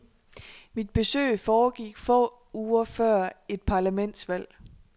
Mit besøg foregik få uger før et parlamentsvalg.